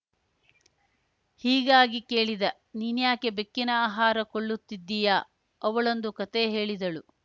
ಹೀಗಾಗಿ ಕೇಳಿದ ನೀನ್ಯಾಕೆ ಬೆಕ್ಕಿನ ಆಹಾರ ಕೊಳ್ಳುತ್ತಿದ್ದೀಯಾ ಅವಳೊಂದು ಕತೆ ಹೇಳಿದಳು